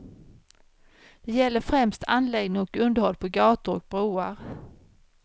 Det gäller främst anläggning och underhåll på gator och broar.